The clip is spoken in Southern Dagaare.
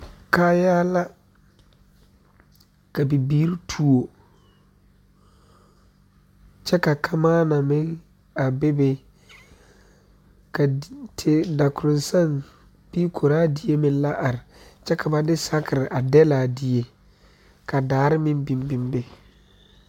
Kaayaare la ka Bibiiri tuo kyɛ ka kamaa meŋ a be be ka dakoroŋ saŋ bee koraadie meŋ la are ka ba de sakere a dɛgle a die ka daare meŋ biŋ biŋ be